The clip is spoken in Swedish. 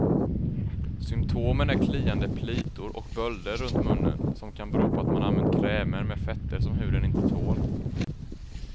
Symtomen är kliande plitor och bölder runt munnen, som kan bero på att man använt krämer med fetter som huden inte tål.